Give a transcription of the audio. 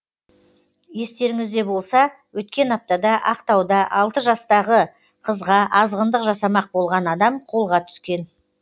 естеріңізде болса өткен аптада ақтауда алты жастағы қызға азғындық жасамақ болған адам қолға түскен